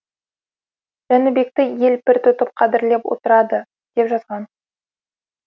жәнібекті ел пір тұтып қадірлеп отырады деп жазған